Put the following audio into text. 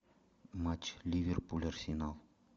матч ливерпуль арсенал